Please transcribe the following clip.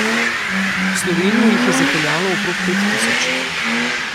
V Slovenijo jih je zapeljalo okrog pet tisoč.